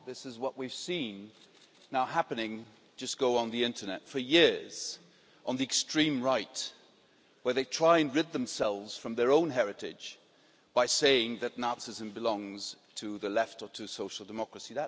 This is what we've seen happening just go on the Internet for years on the extreme right, where they try and rid themselves from their own heritage by saying that Nazism belongs to the left or to social democracy.